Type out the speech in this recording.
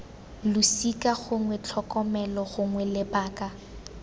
losika gongwe tlhokomelo gongwe lebaka